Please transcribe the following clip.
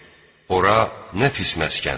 Ora nə pis məskəndir!